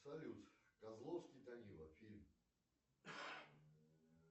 салют козловский данила фильм